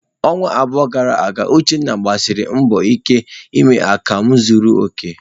Ọnwa abụọ gara aga, Uchenna gbasiri mbọ ike ime akamu zuru oke.